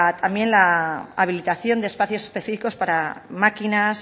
también la habilitación de espacios específicos para maquinas